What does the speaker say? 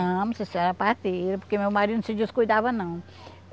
Não, precisa ser a parteira, porque meu marido não se descuidava, não.